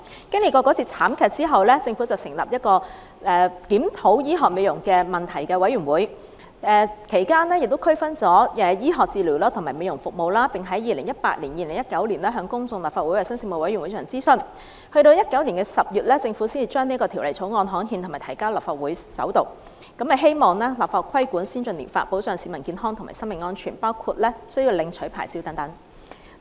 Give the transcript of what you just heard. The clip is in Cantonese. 經歷那次慘劇後，政府成立檢討醫學美容問題的委員會，其間亦區分了醫學治療和美容服務，並在 2018-2019 年度向公眾和立法會衞生事務委員會進行諮詢，直至2019年10月，政府才將《條例草案》刊憲及提交立法會進行首讀，希望立法規管先進療法，保障市民健康和生命安全，包括需要領取牌照等。